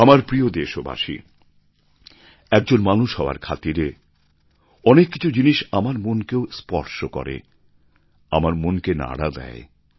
আমার প্রিয় দেশবাসী একজন মানুষ হওয়ার খাতিরে অনেক কিছু জিনিষ আমার মনকেও স্পর্শ করে আমার মন কে নাড়া দেয়